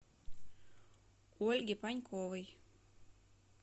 ольги паньковой